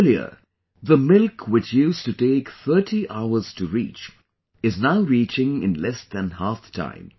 Earlier the milk which used to take 30 hours to reach is now reaching in less than half the time